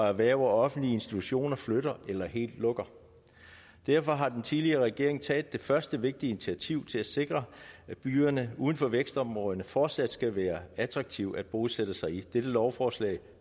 erhverv og offentlige institutioner flytter eller helt lukker derfor har den tidligere regering taget det første vigtige initiativ til at sikre at byerne uden for vækstområderne fortsat skal være attraktive at bosætte sig i dette lovforslag